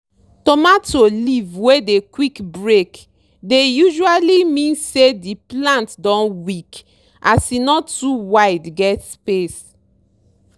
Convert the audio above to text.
tomato leave wey dey quick break dey usually mean say di plant don weak as e no too wide get space.